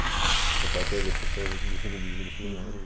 O pessoal queria ver esses shows nesse domingo, nesse lugar.